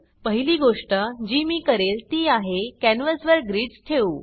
पहिली गोष्ट जी मी करेल ती आहे कॅनव्हास वर ग्रिड्स ठेवू